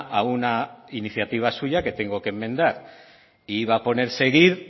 a una iniciativa suya que tengo que enmendar e iba a poner seguir